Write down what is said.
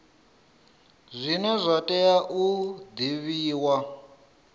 zwine zwa tea u divhiwa